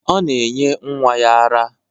Ọ na-enye nwa ya ara.